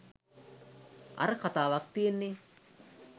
අර කතාවක් තියෙන්නෙ